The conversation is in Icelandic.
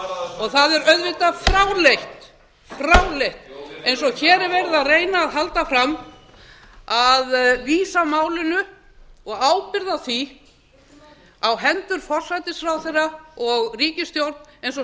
þessu það er auðvitað fráleitt fráleitt eins og hér er verið að reyna að halda fram að vísa málinu og ábyrgð á því á hendur forsætisráðherra og ríkisstjórn eins og